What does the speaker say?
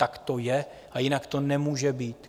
Tak to je a jinak to nemůže být.